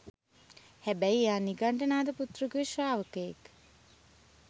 හැබැයි එයා නිගණ්ඨ නාතපුත්‍රගේ ශ්‍රාවකයෙක්.